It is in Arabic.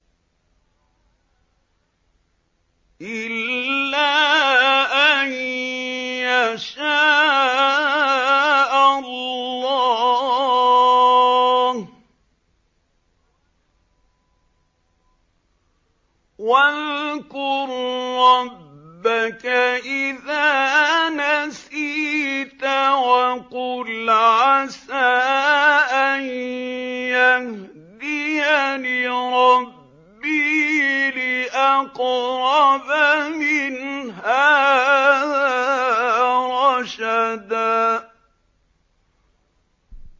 إِلَّا أَن يَشَاءَ اللَّهُ ۚ وَاذْكُر رَّبَّكَ إِذَا نَسِيتَ وَقُلْ عَسَىٰ أَن يَهْدِيَنِ رَبِّي لِأَقْرَبَ مِنْ هَٰذَا رَشَدًا